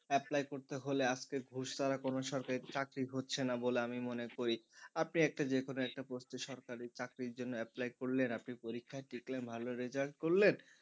apply করতে হলে আজকে ঘুষ ছাড়া কোন সরকারি চাকরি হচ্ছে না বলে আমি মনে করি, আপনি একটা যেকোনো একটা post এ সরকারি চাকরির জন্য apply করলেন আপনি পরীক্ষায় ভালো result করলেন,